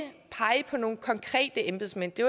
at på nogle konkrete embedsmænd det